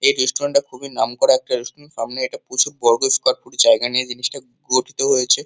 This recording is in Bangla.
এই রেস্টুরেন্ট -টা খুবই নাম করা একটা রেস্টুরেন্ট । সামনে একটা প্রচুর বর্গ স্কোয়ার ফুট জায়গা নিয়ে জিনিসটা গঠিত হয়েছে।